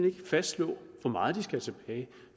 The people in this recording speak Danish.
ikke fastslå hvor meget de skal have tilbage